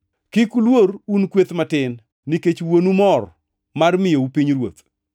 “Kik uluor un kweth matin, nikech Wuonu mor mar miyou pinyruoth.